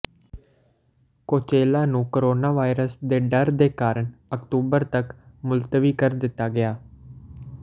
Coachella ਨੂੰ coronavirus ਦੇ ਡਰ ਦੇ ਕਾਰਨ ਅਕਤੂਬਰ ਤੱਕ ਮੁਲਤਵੀ ਕਰ ਦਿੱਤਾ ਗਿਆ